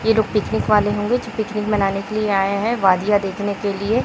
ये लोग पिकनिक वाले होंगे जो पिकनिक मनाने के लिए आए हैं वादियां देखने के लिए।